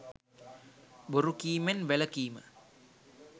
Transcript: බොරු කීමෙන් වැළකීම